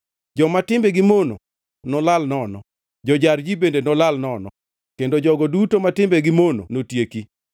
Joma timbegi mono nolal nono, jo-jar ji bende nolal nono, kendo jogo duto ma timbegi mono notieki;